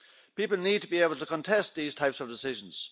People need to be able to contest these types of decisions.